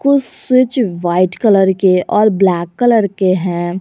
कुछ switch white colour के और ब्लैक कलर के हैं।